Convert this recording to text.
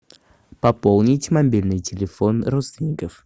пополнить мобильный телефон родственников